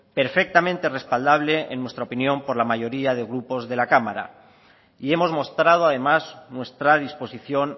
perfectamente respaldable en nuestra opinión por la mayoría de grupos de la cámara y hemos mostrado además nuestra disposición